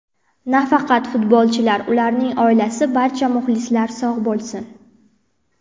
Nafaqat futbolchilar, ularning oilasi, barcha muxlislar sog‘ bo‘lsin.